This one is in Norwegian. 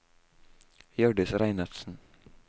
Hjørdis Reinertsen